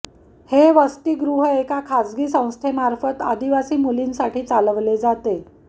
हे वस्तीगृ एका खाजगी संस्थेमार्फत आदिवासी मुलींसाठी चालवले जाते